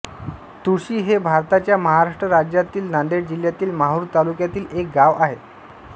तुळशी हे भारताच्या महाराष्ट्र राज्यातील नांदेड जिल्ह्यातील माहूर तालुक्यातील एक गाव आहे